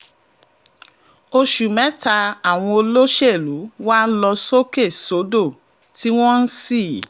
oṣù mẹ́ta àwọn olóṣèlú wá ń lọ sókè sódò tí wọ́n ṣí